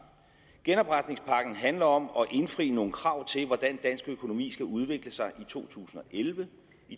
genopretningspakken handler om at indfri nogle krav til hvordan dansk økonomi skal udvikle sig i to tusind og elleve